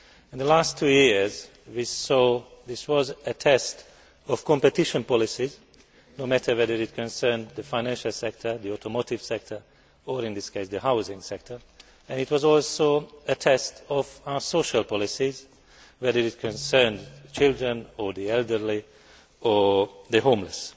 In the last two years, we saw that this was a test of competition policies no matter whether it concerned the financial sector, the automotive sector or, in this case, the housing sector, and it was also a test of our social policies, whether it concerned children or the elderly or the homeless.